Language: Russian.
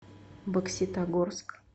бокситогорск